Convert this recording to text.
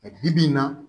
Bi bi in na